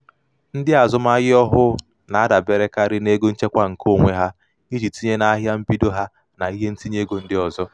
"ndị azụmahịa ọhụụ na-adaberekarị n'ego nchekwa nke onwe onwe ha iji tinye na ahịa mbido ha na ihe ntinyeego ndị ọzọ. "